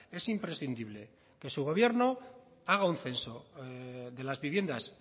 es imprescindible que su gobierno haga un censo de las viviendas